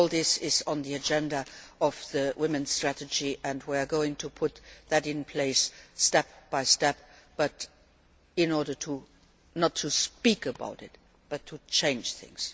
All this is on the agenda of the strategy for women and we are going to put that in place step by step not in order to just speak about it, but to change things.